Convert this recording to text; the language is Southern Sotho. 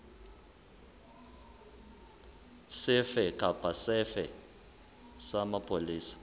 sefe kapa sefe sa mapolesa